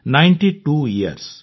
ninety two yours